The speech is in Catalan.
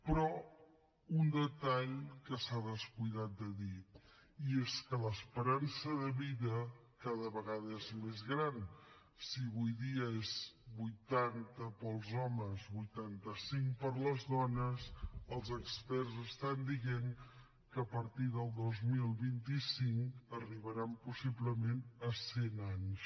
però un detall que s’ha descuidat de dir i és que l’esperança de vida cada vegada és més gran si avui dia és vuitanta per als homes vuitanta cinc per a les dones els experts estan dient que a partir del dos mil vint cinc arribaran possiblement a cent anys